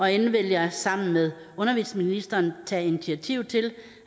endelig vil jeg sammen med undervisningsministeren tage initiativ til